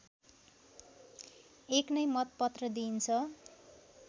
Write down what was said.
एक नै मतपत्र दिइन्छ